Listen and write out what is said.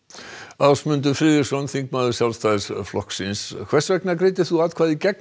Ásmundur Friðriksson þingmaður Sjálfstæðisflokks hvers vegna greiddir þú atkvæði gegn